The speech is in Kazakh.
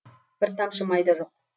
бір тамшы май да жоқ